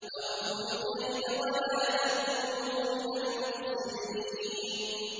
۞ أَوْفُوا الْكَيْلَ وَلَا تَكُونُوا مِنَ الْمُخْسِرِينَ